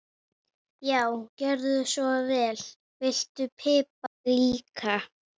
Já, gjörðu svo vel. Viltu pipar líka?